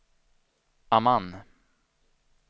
Amman